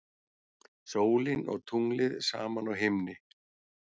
Sólin og tunglið saman á himni.